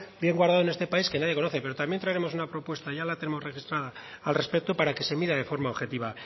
bien guardado en este país que nadie conoce pero también traeremos una propuesta ya la tenemos registrada al respecto para que se mida de forma objetiva